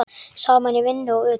Saman í vinnu og utan.